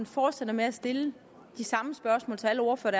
fortsætter med at stille de samme spørgsmål til alle ordførere